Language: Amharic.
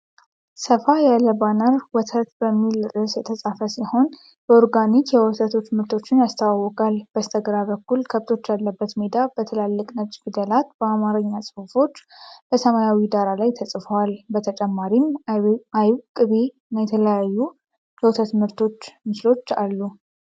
ሰፋ ያለ ባነር "ወተት" በሚል ርዕስ የተጻፈ ሲሆን፣ የኦርጋኒክ የወተት ምርቶችን ያስተዋውቃል። በስተግራ በኩል ከብቶች ያለበት ሜዳ፤ በትላልቅ ነጭ ፊደላት የአማርኛ ጽሑፎች በሰማያዊ ዳራ ላይ ተጽፈዋል። በተጨማሪም አይብ፣ ቅቤ እና የተለያዩ የወተት ምርቶች ምስሎች አሉ።